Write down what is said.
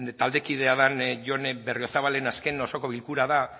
taldekidea den jone berriozabalen azken osoko bilkura da